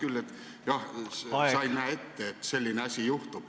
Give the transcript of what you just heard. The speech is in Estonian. Sa ütled küll, jah, et sa ei näe ette, et selline asi juhtub.